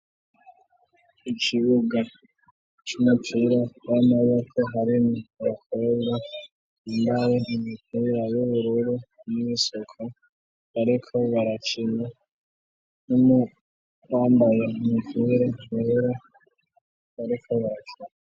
Ikibuga cimucura b'amaboko hari mu baheba imbare ntimikuuyayo birure m'bisoko, ariko baracina numo bambaye umukera kohera arikorasa.